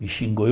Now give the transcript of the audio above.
Me xingou. Eu